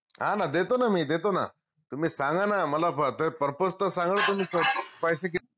हान देतो न मी देतो न तुम्ही सांगा न मला purpose त सांगा तुम्ही पैसे किती